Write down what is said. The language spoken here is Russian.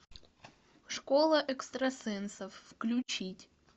школа экстрасенсов включить